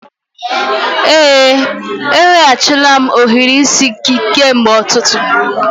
Ee, eweghachila m ohiri isi gị kemgbe ụtụtụ